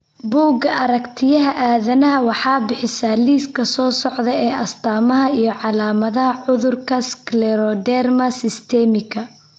Bugga Aaragtiyaha Aadanaha waxay bixisaa liiska soo socda ee astamaha iyo calaamadaha cudurka Scleroderma systemika.